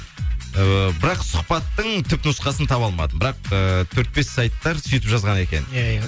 ііі бірақ сұхбаттың түп нұсқасын таба алмадым бірақ ііі төрт бес сайттар сөйтіп жазған екен иә иә